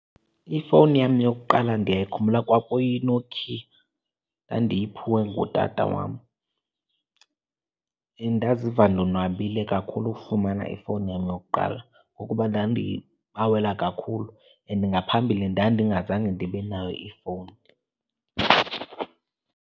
Ifowuni yam yokuqala ndiyayikhumbula kwakuyiNokia, ndandiyiphiwe ngutata wam. Ndaziva ndonwabile kakhulu ukufumana ifowuni yam yokuqala, ngokuba ndandiyibawela kakhulu and ngaphambili ndandingazange ndibe nayo ifowuni.